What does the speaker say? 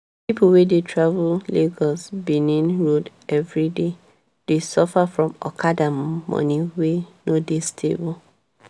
people wey dey travel lagos-benin road everyday dey suffer from okada money wey no dey stable.